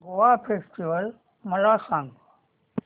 Goa festival मला सांग